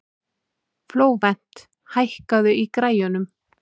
Flóvent, hækkaðu í græjunum.